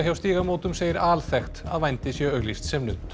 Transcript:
hjá Stígamótum segir alþekkt að vændi sé auglýst sem nudd